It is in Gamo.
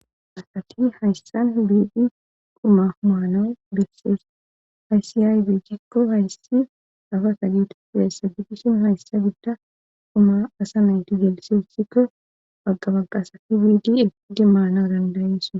asati hayssan biidi quma humaano bessees aysiyaybe cekko hayssi afa ka geete fidessabitishin hayssa gidda quma asa nayti geelse othikka pagqabaqaasati biidi eigi maana dandayesaa